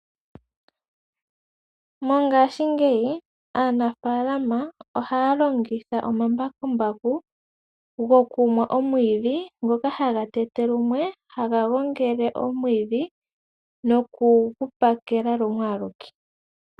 Mongaashingeyi aanafaalama ohaya longitha omambakumbaku gokumwa omwiidhi ngoka haga tetelumwe, haga gongele omwiidhi nokugu pakela lumwe aluke.